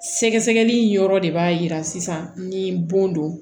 Sɛgɛsɛgɛli yɔrɔ de b'a jira sisan ni bon don